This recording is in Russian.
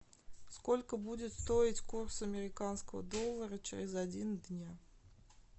сколько будет стоить курс американского доллара через один дня